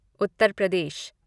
Uttar Pradesh